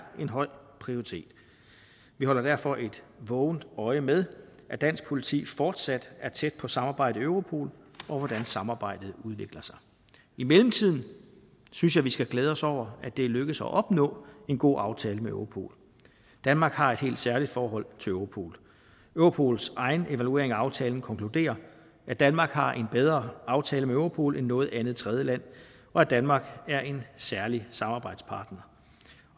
en høj prioritet vi holder derfor et vågent øje med at dansk politi fortsat er tæt på samarbejdet i europol og hvordan samarbejdet udvikler sig i mellemtiden synes jeg vi skal glæde os over at det er lykkedes at opnå en god aftale med europol danmark har et helt særligt forhold til europol europols egen evaluering af aftalen konkluderer at danmark har en bedre aftale med europol end noget andet tredjeland og at danmark er en særlig samarbejdspartner